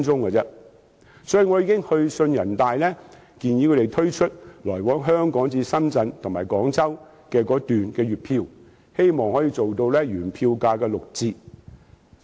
所以，我已經去信人大常委會，建議他們推出來往香港至深圳及廣州的高鐵月票，希望可以提供原票價的六折優惠。